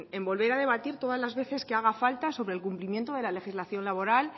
en volver a debatir todas las veces que haga falta sobre el cumplimiento de la legislación laboral